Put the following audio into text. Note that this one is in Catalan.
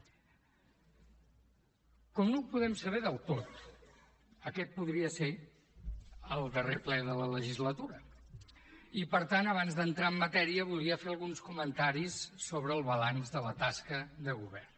com no ho podem saber del tot aquest podria ser el darrer ple de la legislatura i per tant abans d’entrar en matèria volia fer alguns comentaris sobre el balanç de la tasca de govern